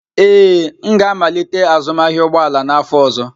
Ee, m ga-amalite azụmahịa ụgbọ ala n'afọ ọzọ.